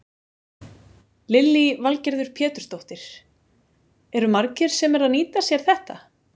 Lillý Valgerður Pétursdóttir: Eru margir sem eru að nýta sér þetta?